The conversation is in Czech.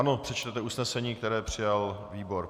Ano, přečtěte usnesení, které přijal výbor.